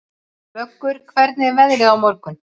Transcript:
Vöggur, hvernig er veðrið á morgun?